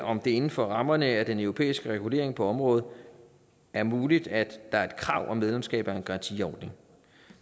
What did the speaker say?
om det inden for rammerne af den europæiske regulering på området er muligt at der er et krav om medlemskab af en garantiordning